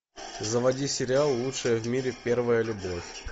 заводи сериал лучшая в мире первая любовь